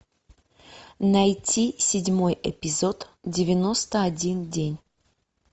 найти седьмой эпизод девяносто один день